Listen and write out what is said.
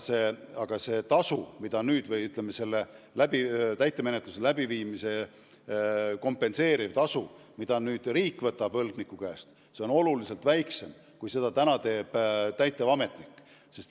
Samas on täitemenetluse läbiviimist kompenseeriv tasu, mida riik võtab võlgniku käest, oluliselt väiksem kui praegu täitevametniku tasu.